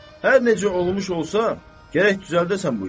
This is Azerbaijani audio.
Hər necə olmuş olsa, gərək düzəldəsən bu işi.